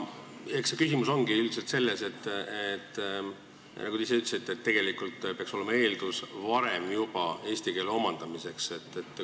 Eks küsimus olegi selles, nagu te ise ütlesite, et peaks olema eeldus juba varem eesti keele omandamiseks.